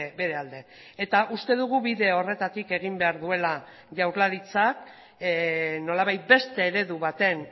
bere alde eta uste dugu bide horretatik egin behar duela jaurlaritzak nolabait beste eredu baten